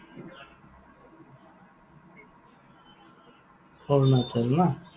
Arunachal ন?